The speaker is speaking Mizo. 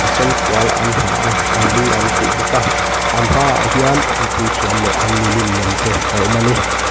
sen fual an ha a an lu an khuh bawk a an hmaah hian an puithiam leh an milim lem te a awm a ni.